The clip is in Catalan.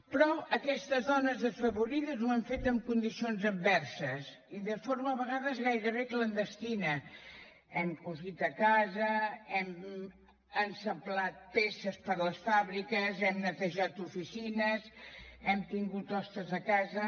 però aquestes dones desfavorides ho han fet en condicions adverses i de forma a vegades gairebé clandestina hem cosit a casa hem acoblat peces per a les fàbriques hem netejat oficines hem tingut hostes a casa